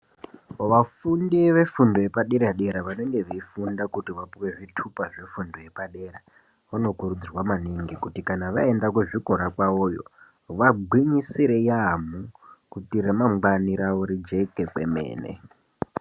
Vafundi vefundo yepadera dera vanenge veifunda kuti vapuwe zvitupa zvitupa zvefundo yepadera, vanokurudzirwa maningi kuti kana vaenda kuzvikora kwavoyo vagwinyisire yaamho kuti ramangwani ravo rijeke kwemene.